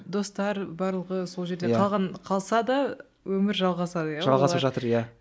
достар барлығы сол жерде қалған қалса да өмір жалғасады иә олар жалғасып жатыр иә